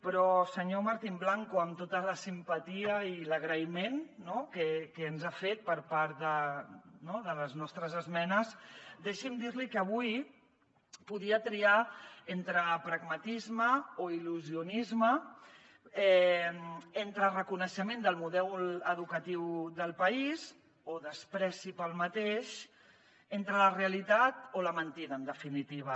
però senyor martín blanco amb tota la simpatia i l’agraïment que ens ha fet per part de les nostres esmenes deixi’m dir li que avui podia triar entre pragmatisme o il·lusionisme entre reconeixement del model educatiu del país o menyspreu per aquest entre la realitat o la mentida en definitiva